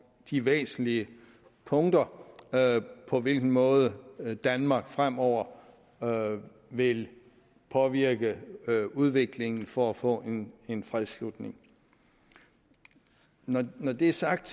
de væsentlige punkter om på hvilken måde danmark fremover vil påvirke udviklingen for at få en en fredsslutning når det er sagt